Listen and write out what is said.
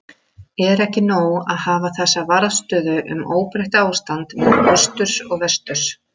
Er ekki nóg að hafa þessa varðstöðu um óbreytt ástand milli austurs og vesturs.